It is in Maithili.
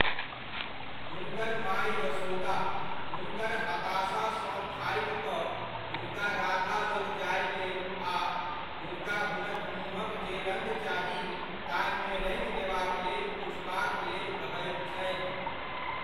हुनकर माय यशोदा, हुनकर हताशासँ थाकि कऽ, हुनका राधा लग जाय लेल आ हुनका हुनक मुँहक जे रङ्ग चाही ताहिमे रङ्गि देबाक लेल पुछबाकलेल कहैत छथि।